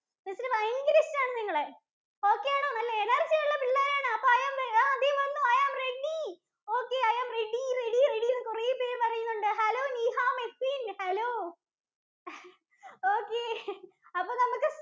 Miss ഭയങ്കര ഇഷ്ടാണ് നിങ്ങളെ. Okay ആണോ? നല്ല energy ഉള്ള പിള്ളേരാണ്. അപ്പൊ I am ready ദാ വന്നു ready okay I am ready, ready എന്ന് കുറെ പേർ പറയുന്നുണ്ട്. hello Niha, Meswin‍ hello okay